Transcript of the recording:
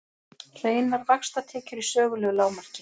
Hreinar vaxtatekjur í sögulegu lágmarki